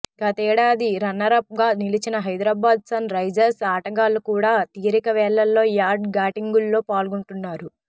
గతేడాది రన్నరప్ గా నిలిచిన హైదరాబాద్ సన్ రైజర్స్ ఆటగాళ్లు కూడా తీరికవేళల్లో యాడ్ షూటింగుల్లో పాల్గొంటున్నారు